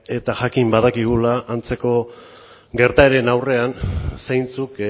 eta jakin badakigula antzeko gertaeren aurrean zeintzuk